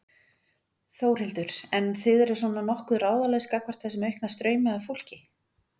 Þórhildur: En þið eru svona nokkuð ráðalaus gagnvart þessum aukna straumi af fólki?